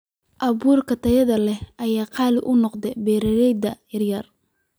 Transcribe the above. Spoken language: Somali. Abuurka tayada leh ayaa qaali u noqday beeralayda yaryar.